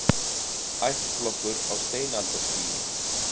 Ættflokkur á steinaldarstigi